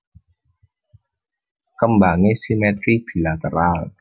Kembangé simetri bilateral